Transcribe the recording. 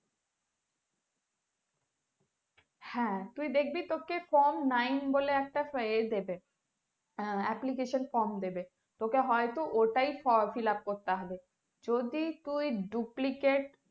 হ্যাঁ তুই দেখবি তোকে from nine বলে একটা ইয়ে দেবে অ্যা application from দেবে এটা হয়তো ওটাই fillup করতে হবে যদি তুই duplicate application from দেবে।